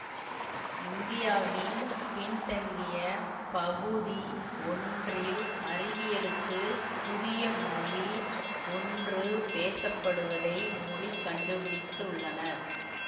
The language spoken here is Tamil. இந்தியாவின் பின்தங்கிய பகுதி ஒன்றில் அறிவியலுக்குப் புதிய மொழி ஒன்று பேசப்படுவதை மொழி கண்டுபிடித்துள்ளனர்